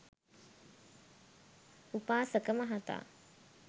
උපාසක මහතා